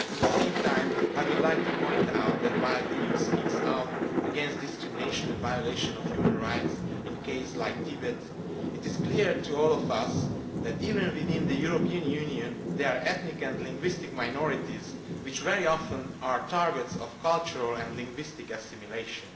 At the same time I would like to point out that, while the EU speaks out against discrimination and violation of human rights in cases like Tibet, it is clear to all of us that even within the European Union there are ethnic and linguistic minorities which are very often targets of cultural and linguistic assimilation.